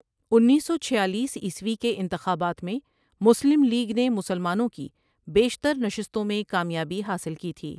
انیس سو چھالیس عیسوی کے انتخابات میں مسلم لیگ نے مسلمانوں کی بیشتر نشستوں میں کامیابی حاصل کی تھی ۔